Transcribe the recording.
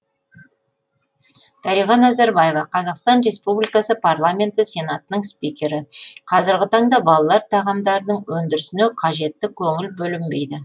дариға назарбаева қазақстан республикасы парламенті сенатының спикері қазіргі таңда балалар тағамдарының өндірісіне қажетті көңіл бөлінбейді